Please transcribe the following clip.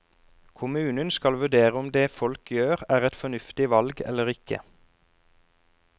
Kommunen skal vurdere om det folk gjør er et fornuftig valg eller ikke.